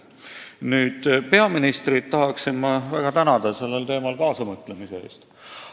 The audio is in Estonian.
Nüüd, peaministrit tahan ma väga tänada sellel teemal kaasamõtlemise eest.